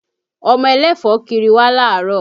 Ọmọ ẹlẹ́fọ̀ọ́ kiri wá láàárọ̀